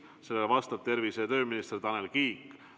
Sellele vastab tervise- ja tööminister Tanel Kiik.